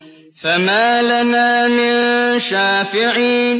فَمَا لَنَا مِن شَافِعِينَ